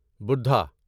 بوڈھا